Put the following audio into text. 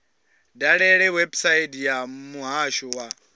dalele website ya muhasho wa